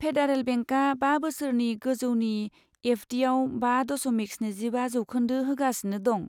Federal बेंकआ बा बोसोरनि गोजौनि एफ डीआव बा दशमिक स्निजिबा जौखोन्दो होगासिनो दं।